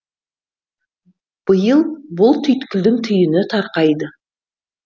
биыл бұл түйткілдің түйіні тарқайды